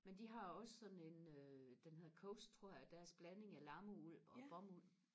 men de har også sådan en øh den hedder coast tror jeg deres blanding af lammeuld og bomuld